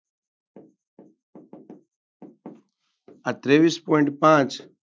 આ ત્રેવીસ point પાંચ